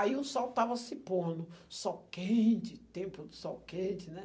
Aí o sol estava se pondo, sol quente, tempo de sol quente, né?